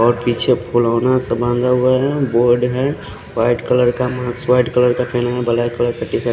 और पीछे पुलोना से बांधा हुआ है बोर्ड है वाइट कलर का बोर्ड वाइट कलर का पेना है ब्लैक कलर का टीशर्ट --